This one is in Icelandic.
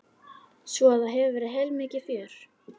Svo að það hefur verið heilmikið fjör?